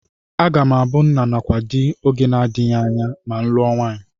Aga m abụ nna nakwa di oge adịghị anya ma m lụọ nwaanyị